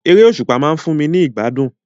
Eré òsùpá ma n fun mi ni ìgbádùn